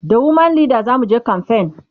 da woman Leda zamuje kamfen